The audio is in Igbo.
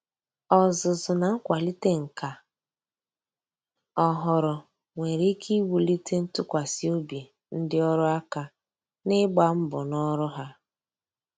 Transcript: Ọzụzụ na nkwalite nka ọhụrụ nwere ike iwulite ntụkwasị obi ndị ọrụ aka ná ịgba mbọ ná ọrụ ha.